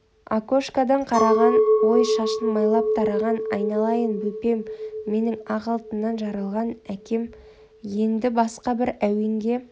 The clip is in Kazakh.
окошкадан қараған-ой шашын майлап тараған айналайын бөпем менің ақ алтыннан жаралған әкем еңді басқа бір әуенге